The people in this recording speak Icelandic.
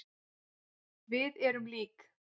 Við erum lík.